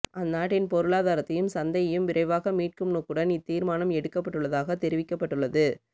அந்நாட்டின் பொருளாதாரத்தையும் சந்தையையும் விரைவாக மீட்கும் நோக்குடன் இத்தீர்மானம் எடுக்கப்பட்டுள்ளதாக தெரிவிக்கப்பட்டுள்ளது